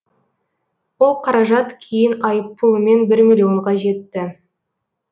ол қаражат кейін айыппұлымен бір миллионға жетті